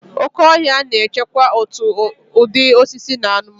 Oke ọhịa na-echekwa òtù ụdị osisi na anụmanụ.